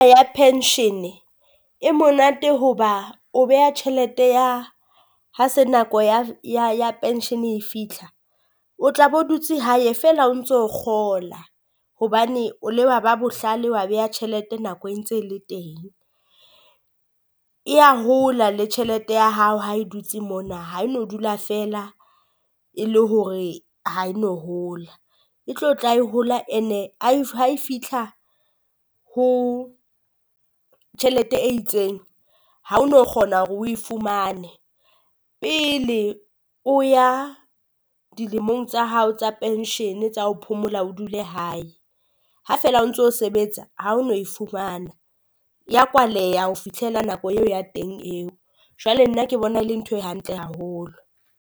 Ya pension e monate hoba o beha tjhelete ya ha se nako ya pension e fitlha, o tla bo dutse hae feela o ntso kgola. Hobane o le ba ba bohlale wa beha tjhelete nako e ntse le teng, eya hola le tjhelete ya hao ha e dutse mona ha e no dula feela e le hore ha e no hola. E tlo tla e hola and-e ha e fitlha ho tjhelete e itseng. Ha o no kgona hore o e fumane pele o ya dilemong tsa hao tsa penshene tsa ho phomola o dule hae. Ha feela o ntso sebetsa ha o no e fumana ya kwaleha ho fitlhela nako eo ya teng eo, jwale nna ke bona le ntho e hantle haholo.